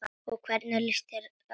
Og hvernig lýsti það sér?